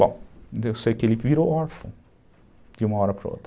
Bom, eu sei que ele virou órfão, de uma hora para outra.